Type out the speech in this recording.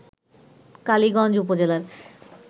কালীগঞ্জ উপজেলার